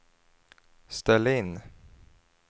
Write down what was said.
ställ in